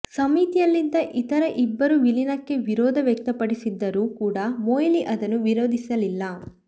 ಸಮಿತಿಯಲ್ಲಿದ್ದ ಇತರ ಇಬ್ಬರು ವಿಲೀನಕ್ಕೆ ವಿರೋಧ ವ್ಯಕ್ತಪಡಿಸಿದ್ದರೂ ಕೂಡ ಮೊಯ್ಲಿ ಅದನ್ನು ವಿರೋಧಿಸಲಿಲ್ಲ